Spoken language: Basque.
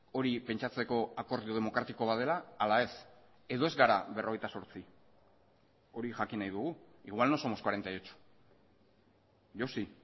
hori pentsatzeko akordio demokratiko bat dela ala ez edo ez gara berrogeita zortzi hori jakin nahi dugu igual no somos cuarenta y ocho yo sí